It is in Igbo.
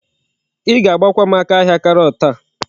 Í ga-agbakwa m aka ahia karọt taa.